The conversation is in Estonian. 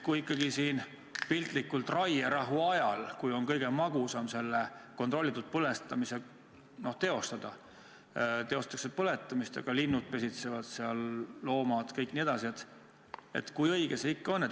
Kui ikkagi piltlikult öeldes raierahu ajal, kui on kõige magusam aeg kontrollitud kulupõletamist teostada, seda teostatakse, aga linnud ja loomad pesitsevad seal, kui õige see siiski on?